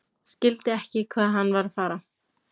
Skildi ekki hvað hann var að fara.